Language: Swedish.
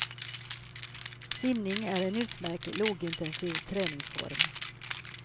Simning är en utmärkt lågintensiv träningsform.